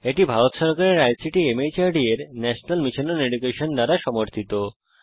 এটি ভারত সরকারের আইসিটি মাহর্দ এর ন্যাশনাল মিশন ওন এডুকেশন দ্বারা সমর্থিত